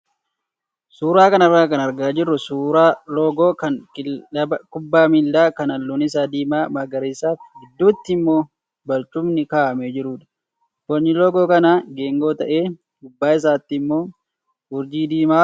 Suuraa kanarraa kan argaa jirru suuraa loogoo kan kilaba kubbaa miilaa kan halluun isaa diimaa, magariisaa fi gidduutti immoo barcumni kaa'amee jirudha. Bocni loogoo kanaa geengoo ta'ee, gubbaa isaatti immoo urjii diimaatu jira.